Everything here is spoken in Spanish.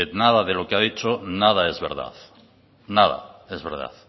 nada de lo que ha dicho nada es verdad nada es verdad